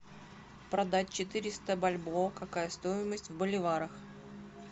продать четыреста бальбоа какая стоимость в боливарах